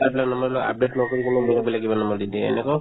চাই পেলাই নম্বৰবিলাক update নকৰিবলৈও বেলেগ বেলেগ কিবা নম্বৰ দি দিয়ে এনেকুৱাও